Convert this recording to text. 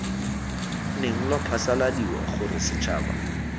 neng lwa phasaladiwa gore setšhaba